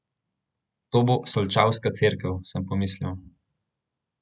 To bo solčavska cerkev, sem pomislil.